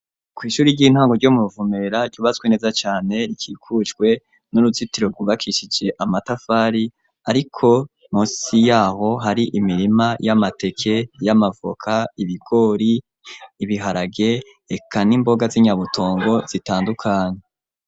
Kw'ishuri ry'intango ryo mu Ruvumera ryubatswe neza cane rikikujwe n'uruzitiro rwubakishije amatafari ariko munsi yaho hari imirima y'amateke, y'amavoka, ibigori ibiharage eka n'imboga z'inyabutongo zitandukanye.